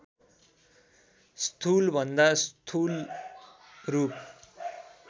स्थूलभन्दा स्थूल रूप